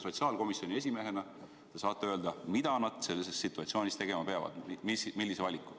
Sotsiaalkomisjoni esimehena te saate öelda, mida nad sellises situatsioonis tegema peavad, millise valiku.